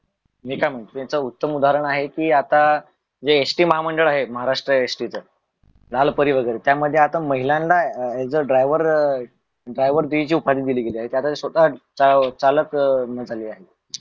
मी काय म्हनतो त्याच उत्तम उदाहरण आहे कि काय आता जे एस टी महा मंडळ आहे महाराट्र एस टी च लालपरी वगेरे त्या मध्ये आता महिलांना अं driver गिरी ची उपाधी दिली गेलेले आहे त्या आता स्वता चालक अं आली आहे.